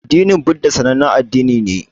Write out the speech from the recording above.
Addinin buddha sanannen addini ne